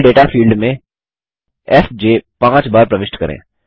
level data field में F J बार प्रविष्ट करें